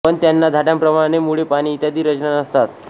पण त्यांना झाडांप्रमाणे मुळे पाने इत्यादी रचना नसतात